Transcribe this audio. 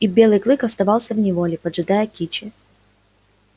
и белый клык оставался в неволе поджидая кичи